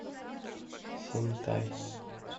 синтай